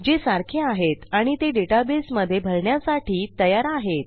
जे सारखे आहेत आणि ते डेटाबेसमधे भरण्यासाठी तयार आहेत